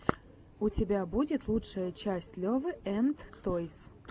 у тебя будет лучшая часть левы энд тойс